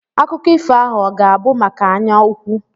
Akụkọ ifo ahụ ọ ga-abụ maka anyaukwu?